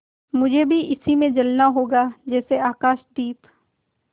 मुझे भी इसी में जलना होगा जैसे आकाशदीप